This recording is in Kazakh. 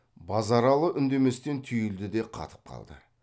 базаралы үндеместен түйілді де қатып қалды